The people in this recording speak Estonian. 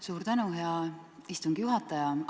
Suur tänu, hea istungi juhataja!